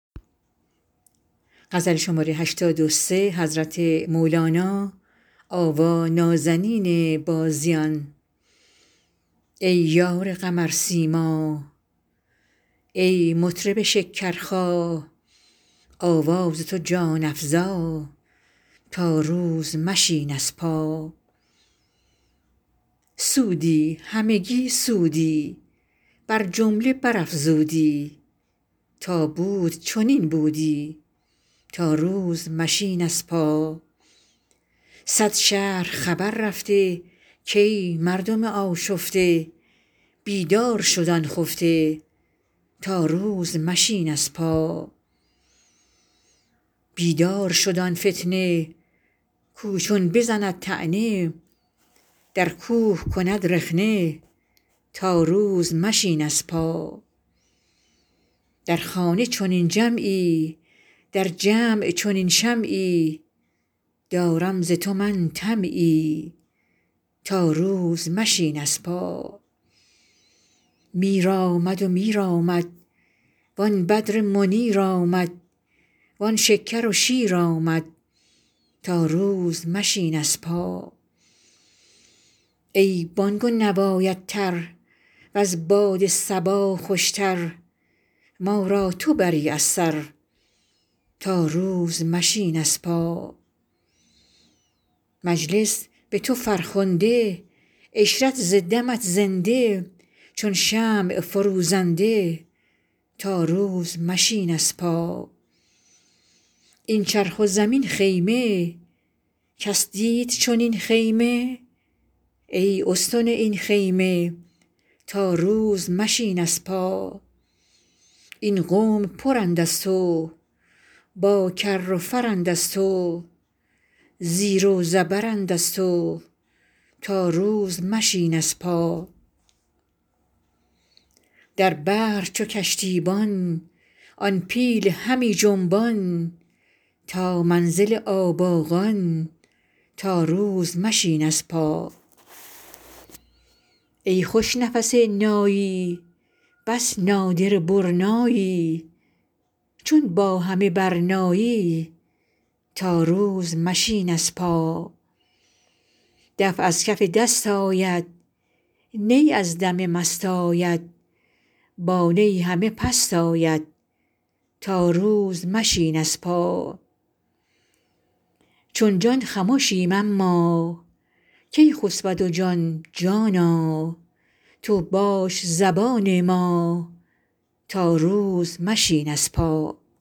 ای یار قمرسیما ای مطرب شکرخا آواز تو جان افزا تا روز مشین از پا سودی همگی سودی بر جمله برافزودی تا بود چنین بودی تا روز مشین از پا صد شهر خبر رفته کای مردم آشفته بیدار شد آن خفته تا روز مشین از پا بیدار شد آن فتنه کاو چون بزند طعنه در کوه کند رخنه تا روز مشین از پا در خانه چنین جمعی در جمع چنین شمعی دارم ز تو من طمعی تا روز مشین از پا میر آمد میر آمد وان بدر منیر آمد وان شکر و شیر آمد تا روز مشین از پا ای بانگ و نوایت تر وز باد صبا خوشتر ما را تو بری از سر تا روز مشین از پا مجلس به تو فرخنده عشرت ز دمت زنده چون شمع فروزنده تا روز مشین از پا این چرخ و زمین خیمه کس دید چنین خیمه ای استن این خیمه تا روز مشین از پا این قوم پرند از تو با کر و فرند از تو زیر و زبرند از تو تا روز مشین از پا در بحر چو کشتیبان آن پیل همی جنبان تا منزل آباقان تا روز مشین از پا ای خوش نفس نایی بس نادره برنایی چون با همه برنایی تا روز مشین از پا دف از کف دست آید نی از دم مست آید با نی همه پست آید تا روز مشین از پا چون جان خمشیم اما کی خسبد جان جانا تو باش زبان ما تا روز مشین از پا